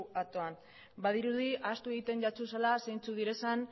aktoan badirudi ahaztu egiten dituzula zeintzuk diren